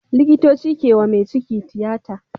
Likitoci kewa me ciki tiyata